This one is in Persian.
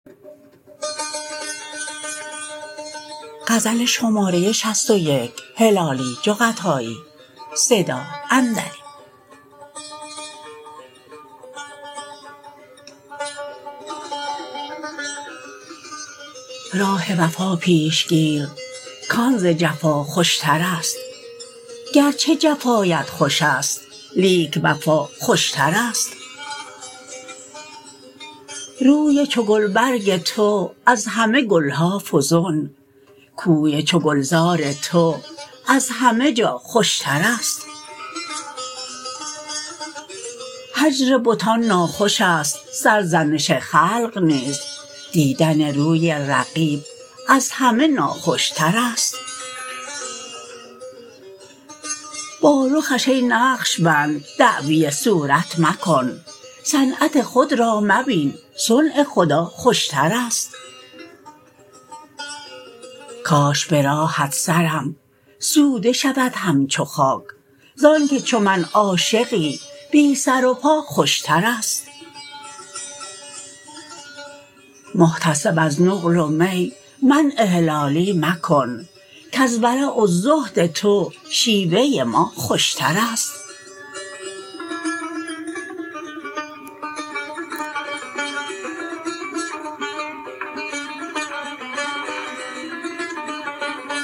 راه وفا پیش گیر کان ز جفا خوشترست گرچه جفایت خوشست لیک وفا خوشترست روی چو گل برگ تو از همه گلها فزون کوی چو گلزار تو از همه جا خوشترست هجر بتان ناخوشست سرزنش خلق نیز دیدن روی رقیب از همه ناخوشترست بارخش ای نقشبند دعوی صورت مکن صنعت خود را مبین صنع خدا خوشترست کاش براهت سرم سوده شود همچو خاک زانکه چو من عاشقی بی سر و پا خوشترست محتسب از نقل و می منع هلالی مکن کز ورع و زهد تو شیوه ما خوشترست